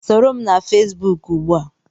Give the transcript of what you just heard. Soro m na Fesbuk ugbu a!